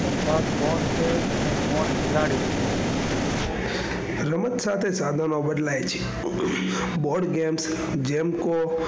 રમત સાથે સાધનો બદલાય છે boardgame જેમ કો,